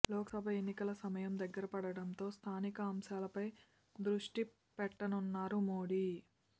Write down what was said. లోక్సభ ఎన్నికల సమయం దగ్గరపడటంతో స్థానిక అంశాలపై దృష్టి పెట్టనున్నారు మోడీ